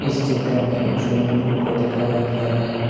इस चित्र में एक स्विमिंग पूल को दिखाया गया है।